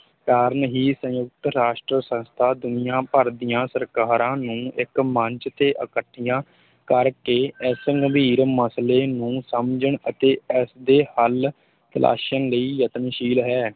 ਕਾਰਨ ਹੀ ਸੰਯੁਕਤ ਰਾਸ਼ਟਰ ਸੰਸਥਾ ਦੁਨੀਆ ਭਰ ਦੀਆਂ ਸਰਕਾਰਾਂ ਨੂੰ ਇੱਕ ਮੰਚ ਤੇ ਇਕੱਠੀਆਂ ਕਰ ਕੇ ਇਸ ਗੰਭੀਰ ਮਸਲੇ ਨੂੰ ਸਮਝਣ ਅਤੇ ਇਸ ਦੇ ਹਲ ਤਲਾਸ਼ਣ ਲਈ ਯਤਨਸ਼ੀਲ ਹੈ।